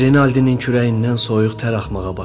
Renalddinin kürəyindən soyuq tər axmağa başladı.